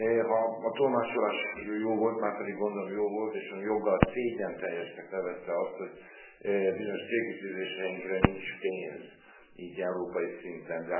Ha a tolmácsolás jó volt, márpedig gondolom jó volt, és Ön joggal, szégyenteljesnek nevezte azt, hogy bizonyos célkitűzéseinkre nincs pénz így, európai szinten.